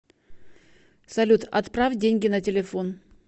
салют отправь деньги на телефон